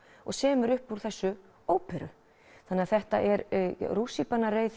og semur upp úr þessu óperu þannig að þetta er rússíbanareið